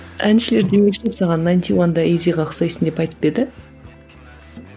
әншілердің найнти уанда изиге ұқсайсың деп айтып па еді